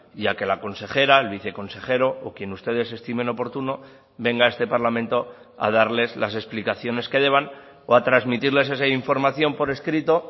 y a que la consejera el viceconsejero o quien ustedes estimen oportuno venga a este parlamento a darles las explicaciones que deban o a transmitirles esa información por escrito